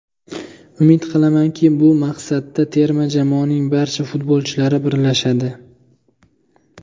Umid qilamanki, bu maqsadda terma jamoaning barcha futbolchilari birlashadi.